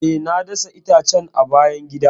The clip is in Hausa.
E, na dasa itacen a bayan gida.